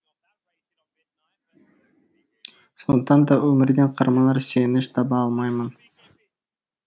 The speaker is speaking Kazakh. сондықтан да өмірден қарманар сүйеніш таба алмаймын